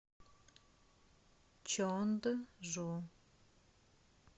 чонджу